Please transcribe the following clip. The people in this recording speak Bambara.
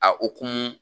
A hokumu